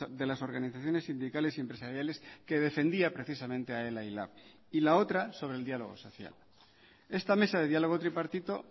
de las organizaciones sindicales y empresariales que defendía precisamente a ela y lab y la otra sobre el diálogo social esta mesa de diálogo tripartito